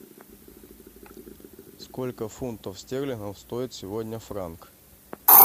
сколько фунтов стерлингов стоит сегодня франк